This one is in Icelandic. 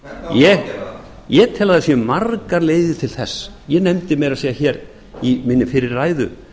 ég tel að það séu margar leiðir til þess ég nefndi meira að segja í minni fyrri ræðu